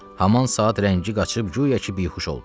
Haman saat rəngi qaçıb güya ki bihuş oldu.